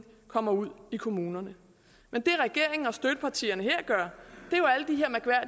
kommer ud i kommunerne men det regeringen og støttepartierne her gør